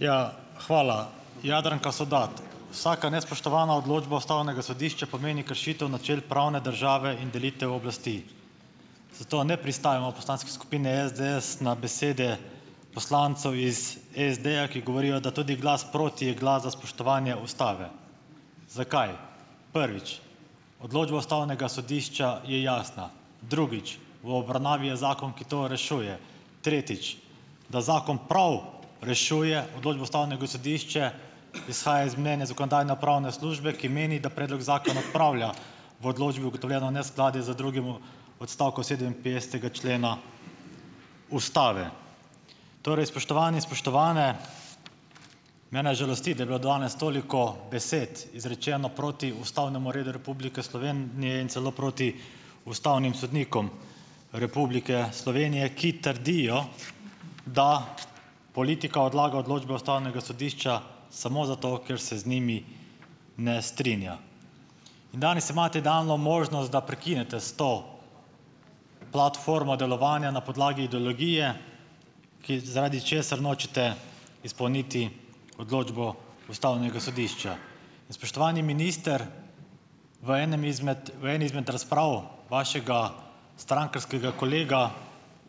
Ja, hvala. Jadranka Sovdat, vsaka nespoštovana odločba ustavnega sodišča pomeni kršitev načel pravne države in delitev oblasti, zato ne pristajamo v poslanski skupini SDS na besede poslancev iz SD-ja, ki govorijo, da tudi glas proti je glas za spoštovanje ustave. Zakaj? Prvič, odločba ustavnega sodišča je jasna. Drugič, v obravnavi je zakon, ki to rešuje. Tretjič, da zakon prav rešuje odločbo ustavnega sodišča, izhaja iz mnenja Zakonodajno-pravne službe, ki meni, da predlog zakona odpravlja v odločbi ugotovljeno neskladje z drugim odstavkom sedeminpetdesetega člena ustave. Torej spoštovani, spoštovane. Mene žalosti, da je bilo danes toliko besed izrečeno proti ustavnemu redu Republike Slovenije in celo proti ustavnim sodnikom Republike Slovenije, ki trdijo, da politika odlaga odločbe ustavnega sodišča samo zato, ker se z njimi ne strinja. In danes imate idealno možnost, da prekinete s to platformo delovanja na podlagi ideologije, ki, zaradi česar nočete izpolniti odločbo ustavnega sodišča. In spoštovani minister, v enem izmed, v eni izmed razprav vašega strankarskega kolega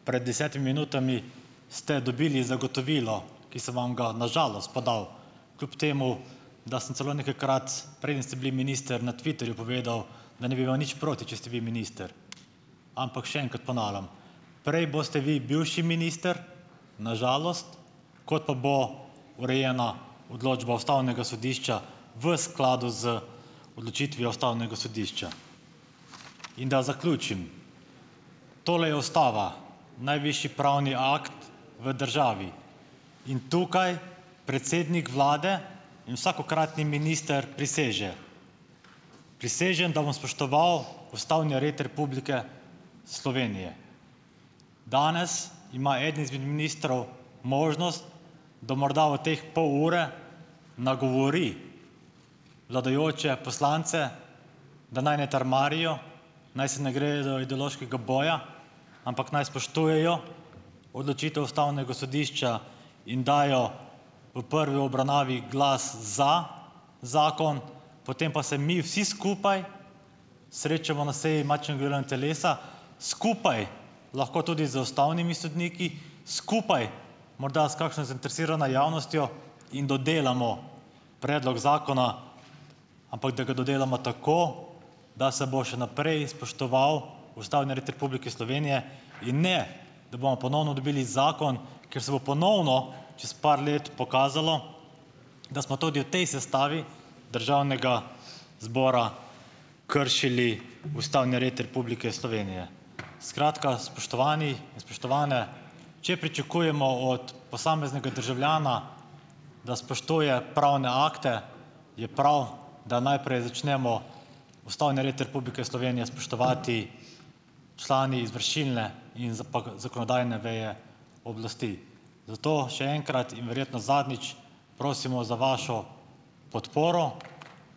pred desetimi minutami ste dobili zagotovilo, ki sem vam ga, na žalost, podal, kljub temu, da sem celo nekajkrat, preden ste bili minister, na Twitterju povedal, da ne bi imel nič proti, če ste vi minister. Ampak še enkrat ponavljam, prej boste vi bivši minister, na žalost, kot pa bo urejena odločba ustavnega sodišča v skladu z odločitvijo ustavnega sodišča. In da zaključim. Tole je ustava, najvišji pravni akt v državi. In tukaj predsednik vlade in vsakokratni minister priseže: "Prisežem, da bom spoštoval ustavni red Republike Slovenije." Danes ima eden izmed ministrov možnost, da morda v teh pol ure nagovori vladajoče poslance, da naj ne trmarijo, naj se ne gredo ideološkega boja, ampak naj spoštujejo odločitev ustavnega sodišča in dajo v prvi obravnavi glas za zakon, potem pa se mi vsi skupaj srečamo na seji matičnega delovnega telesa, skupaj lahko tudi z ustavnimi sodniki, skupaj morda s kakšno zainteresirano javnostjo in dodelamo predlog zakona, ampak da ga dodelamo tako, da se bo še naprej spoštoval ustavni red Republike Slovenije in ne, da bomo ponovno dobili zakon, kjer se bo ponovno čez par let pokazalo, da smo tudi v tej sestavi državnega zbora kršili ustavni red Republike Slovenije. Skratka. Spoštovani in spoštovane! Če pričakujemo od posameznega državljana, da spoštuje pravne akte, je prav, da najprej začnemo ustavni red Republike Slovenije spoštovati člani izvršilne in zakonodajne veje oblasti. Zato še enkrat in verjetno zadnjič, prosimo za vašo podporo.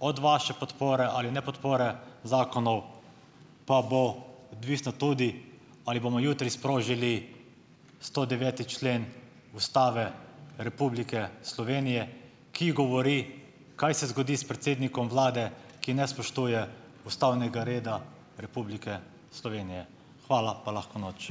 Od vaše podpore ali nepodpore zakonov pa bo odvisno tudi, ali bomo jutri sprožili stodeveti člen Ustave Republike Slovenije, ki govori, kaj se zgodi s predsednikom vlade, ki ne spoštuje ustavnega reda Republike Slovenije. Hvala pa lahko noč!